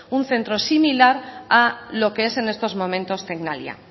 un centro similar a lo que es en estos momentos tecnalia